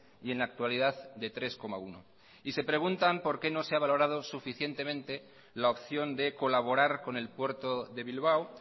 y en la actualidad de tres coma uno y se preguntan por qué no se ha valorado suficientemente la opción de colaborar con el puerto de bilbao